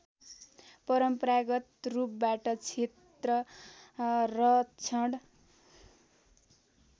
परम्परागत रूपबाट क्षेत्ररक्षण